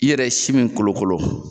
I yɛrɛ ye si min kolokolo.